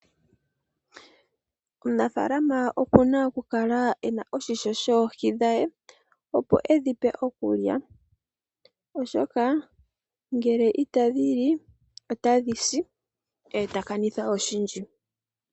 Omunafalama oku na okukala ena oshisho shoohi dhe opo e dhi pe okulya, oshoka ngele itadhi li otadhi si e ta kanitha oshindji.